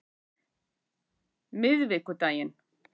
miðvikudaginn